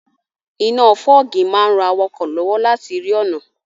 Iná fọ́ọ̀gì máa n ran awakọ̀ lọ́wọ́ láti rí ọ̀nà